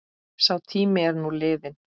Sá tími er nú liðinn.